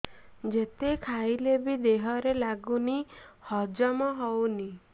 ଯେତେ ଖାଇଲେ ବି ଦେହରେ ଲାଗୁନି ହଜମ ହଉନି